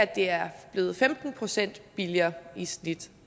det er blevet femten procent billigere i snit